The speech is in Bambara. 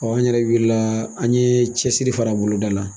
an yɛrɛ wilila, an ɲe cɛsiri fara boloda la